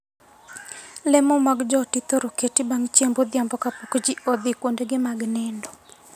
Lemo mag joot ithoro keti bang' chiemb odhiambo kapok jii odhii kuendegi mag nindo.